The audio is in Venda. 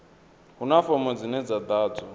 huna fomo dzine dza ḓadzwa